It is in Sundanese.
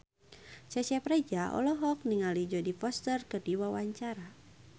Cecep Reza olohok ningali Jodie Foster keur diwawancara